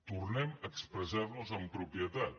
tornem a expressar nos amb propietat